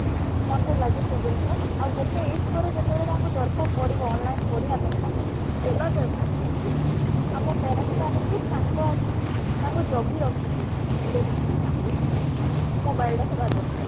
ମତେ ଲାଗେ ସେ ଜିନିଷ ଆଉ ଗୋଟେ ଆage ପରେ ଯେତେବେଳେ ତାଙ୍କୁ ଦରକାର ପଡିବ online ପଢିବା ପାଇଁ ତାଙ୍କୁ ଦେବା ଦରକାର କିନ୍ତୁ ଆମ parents ମାନ ଙ୍କୁ ତାଙ୍କ ଆଃ ତାଙ୍କୁ ଜଗି ରଖିକି ଦେଖିକି ତାଙ୍କୁ mobile ଟା ଦେବା ଦରକାର